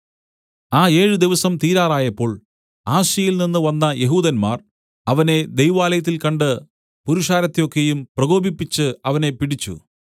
ആ ഏഴ് ദിവസം തീരാറായപ്പോൾ ആസ്യയിൽനിന്ന് വന്ന യെഹൂദന്മാർ അവനെ ദൈവാലയത്തിൽ കണ്ടിട്ട് പുരുഷാരത്തെ ഒക്കെയും പ്രകോപിപ്പിച്ച് അവനെ പിടിച്ച്